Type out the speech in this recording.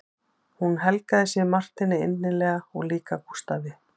Hún helgaði sig Marteini innilega og líka Gústafi